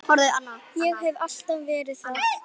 Ég hef alltaf verið það.